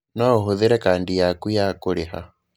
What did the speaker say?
No ũhũthĩre kadi yaku ya kũrĩha.